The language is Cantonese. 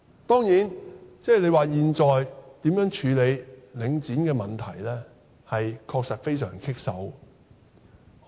當然，現在如何處理領展的問題，的確是令人束手無策的。